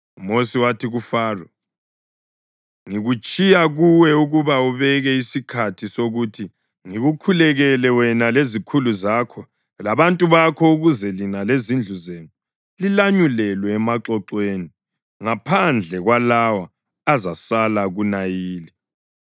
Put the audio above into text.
UMosi wathi, kuFaro “Ngikutshiya kuwe ukuba ubeke isikhathi sokuthi ngikukhulekele wena lezikhulu zakho labantu bakho ukuze lina lezindlu zenu lilanyulelwe emaxoxweni, ngaphandle kwalawo azasala kuNayili.”